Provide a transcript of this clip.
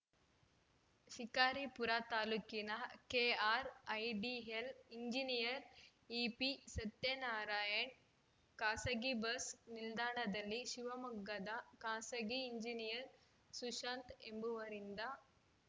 ಶಿಕಾರಿಪುರ ತಾಲೂಕಿನ KRIDL engineer EP Satyanarayana ಖಾಸಗಿ bus ನಿಲ್ದಾಣದಲ್ಲಿ ಶಿವಮೊಗ್ಗದ ಖಾಸಗಿ ಎಂಜಿನಿಯರ್‌ ಸುಶಾಂತ್‌ ಎಂಬವರಿಂದ